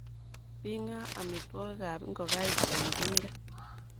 Bing'a amitwogikab ngokaik eng tinga.